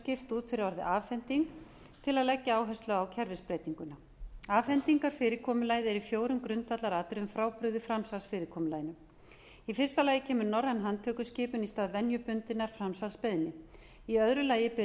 skipt út fyrir orðið afhending til að leggja áhersla á kerfisbreytinguna afhendingarfyrirkomulagið er í fjórum grundvallaratriðum frábrugðið framsalsfyrirkomulaginu í fyrsta lagi kemur norræn handtökuskipun í stað venjubundinnar framsalsbeiðni í öðru lagi ber